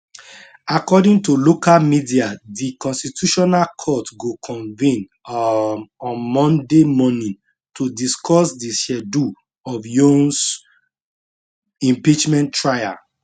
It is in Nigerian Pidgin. according to local media di constitutional court go convene um on monday morning to discuss di schedule of yoons impeachment trial